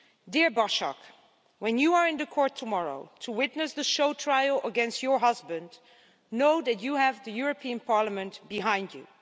Dear Başak, when you are in the court tomorrow to testify in the show trial against your husband, know that you have the European Parliament behind you.